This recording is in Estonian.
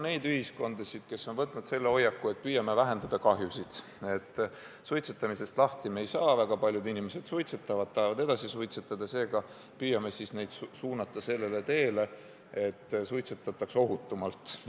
On ühiskondasid, kus on võetud hoiak, et püüame kahju vähendada – suitsetamisest lahti me ei saa, väga paljud inimesed suitsetavad ja tahavad edasi suitsetada, aga püüame siis neid suunata sellele teele, et suitsetataks ohutumalt.